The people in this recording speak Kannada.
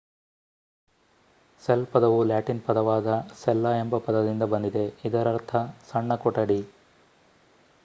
ಸೆಲ್ ಪದವು ಲ್ಯಾಟಿನ್ ಪದವಾದ ಸೆಲ್ಲಾ ಎಂಬ ಪದದಿಂದ ಬಂದಿದೆ ಇದರರ್ಥ ಸಣ್ಣ ಕೊಠಡಿ